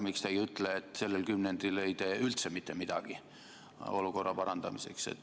Miks te ei ütle, et sellel kümnendil ei tee te üldse mitte midagi olukorra parandamiseks?